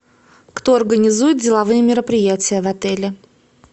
кто организует деловые мероприятия в отеле